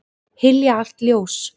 Hylja allt ljós.